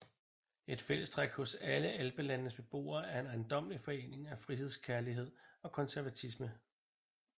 Et fællestræk hos alle alpelandenes beboere er en ejendommelig forening af frihedskærlighed og konservatisme